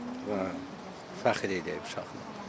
Fəxr eləyib uşaq.